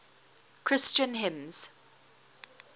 christian hymns